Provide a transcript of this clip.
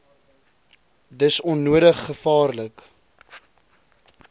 dis onnodig gevaarlik